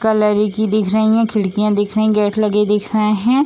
Colour एक की दिख रही हैं खिड़कियाँ दिख रहीं गेट लगे दिख रहे हैं।